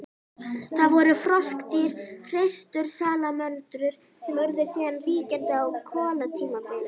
Það voru froskdýr, hreistursalamöndrur, sem urðu síðan ríkjandi á kolatímabilinu.